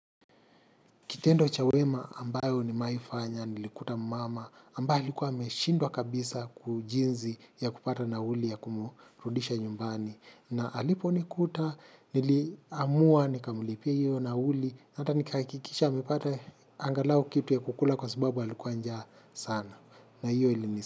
Kitendo cha wema ambayo nimewa aifanya, nilikuta mama, ambaye ilikuwa ameshindwa kabisa kujinzi ya kupata nauli ya kumurudisha nyumbani. Na alipo nikuta, niliamua, nikamulipia hiyo nauli, hata nikahakikisha amepata angalau kitu ya kukula kwa sababu alikuwa njaa saana.